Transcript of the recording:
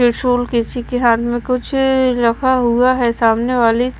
त्रिशूल किसी के हाथ में कुछ अ रखा हुआ है सामने वाली--